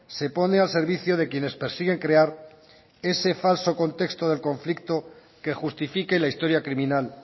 se pone al servicio de quienes persiguen crear ese falso contexto del conflicto que justifique la historia criminal